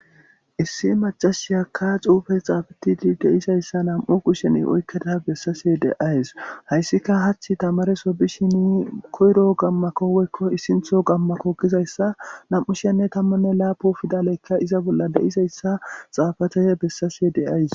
Issi macashiyakka xuufe xaafatidi de'izayssa nam'u kushen oykkada bessashe de'awus. Hayssika hachi tamareso bishini koyro qammako woykko issintho qammako gizayssa nam'u shi'anne tammanne laapun fidaleykka iza bolla de'izayssa xaafada bessashe de'awus.